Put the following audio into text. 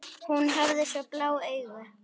Hún hafði svo blá augu.